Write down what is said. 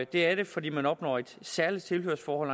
det er det fordi man opnår et særligt tilhørsforhold